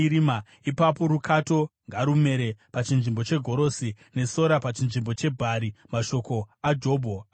ipapo rukato ngarumere pachinzvimbo chegorosi, nesora pachinzvimbo chebhari.” Mashoko aJobho apera.